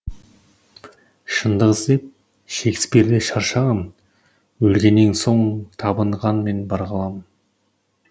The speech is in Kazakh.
шындық іздеп шекспир де шаршаған өлгеннен соң табынғанмен бар ғалам